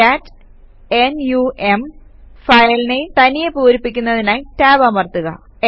കാട്ട് n u M file name തനിയെ പൂരിപ്പിക്കുന്നതിനായി tab അമർത്തുക